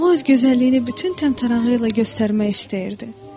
O öz gözəlliyini bütün təmtərağı ilə göstərmək istəyirdi.